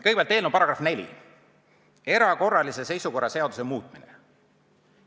Kõigepealt eelnõu § 4, "Erakorralise seisukorra seaduse muutmine".